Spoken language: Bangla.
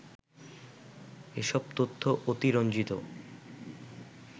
এসব তথ্য অতিরঞ্জিত